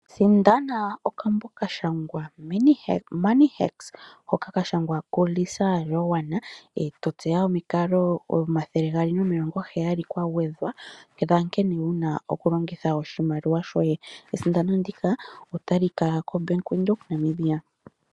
Sindana okambo kashangwa Money Hacks hoka kashangwa ku Lisa Joan eto tseya omikalo omathele gaali nomilongo ntano dhankene wuna oku longitha oshimaliwa, esindano ndika otali kala kombaangs yo Bank Windhoek